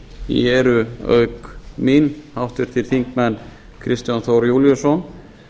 í eru auk mín háttvirtir þingmenn kristján þór júlíusson